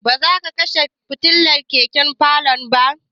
Za a kashe fitilar keken Falalu.